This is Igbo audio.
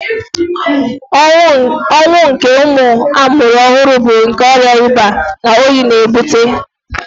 Ọnwụ nke ụmụ amụrụ ọhụrụ bu nkè ọrịa ịba na oyi n'ebute